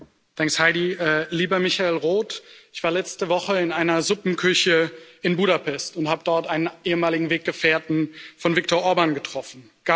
Frau Präsidentin, lieber Michael Roth! Ich war letzte Woche in einer Suppenküche in Budapest und habe dort einen ehemaligen Weggefährten von Viktor Orbán getroffen.